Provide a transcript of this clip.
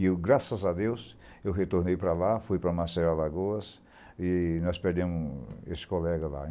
E, graças a Deus, eu retornei para lá, fui para Maceió, Alagoas, e nós perdemos esse colega lá.